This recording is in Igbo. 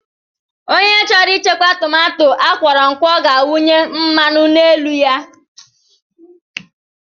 Ònye chọrọ ichekwa tomato akworokwo ga awunye mmanụ n'elu ya.